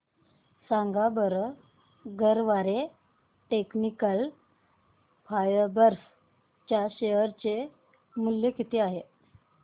सांगा बरं Garware technical fibres च्या शेअर चे मूल्य किती आहे